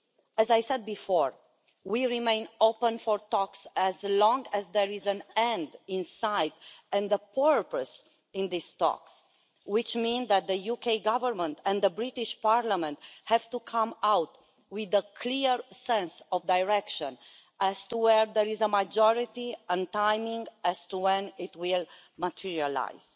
As I said before, we remain open for talks, as long as there is an end in sight and a purpose to these talks, which means that the UK Government and the British Parliament have to come out with a clear sense of direction as to where there is a majority and of timing as to when it will materialise.